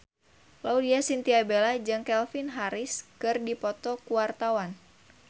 Laudya Chintya Bella jeung Calvin Harris keur dipoto ku wartawan